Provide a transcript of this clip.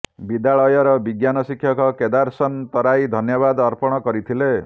ବିଦ୍ୟାଳୟର ବିଜ୍ଞାନ ଶିକ୍ଷକ କେଦାରସନ୍ ତରାଇ ଧନ୍ୟବାଦ ଅର୍ପଣ କରିଥିଲେ